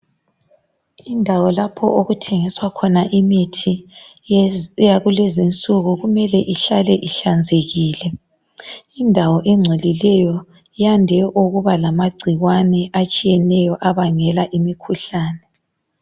Indawo lapho okuthengiswa khona imithi yakulezi insuku kumele ihlale ihlanzekile, ngoba indawo engcolileyo iyande ukuba lamagcikwane etshiyeneyo abangela imikhuhlane.